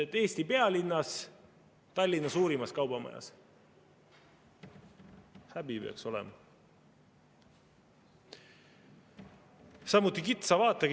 " Eesti pealinnas, Tallinna suurimas kaubamajas – häbi peaks olema!